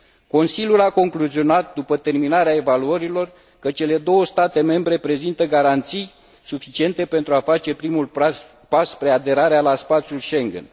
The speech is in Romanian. Consiliul a concluzionat, după terminarea evaluărilor, că cele două state membre prezintă garanții suficiente pentru a face primul pas spre aderarea la spațiul Schengen.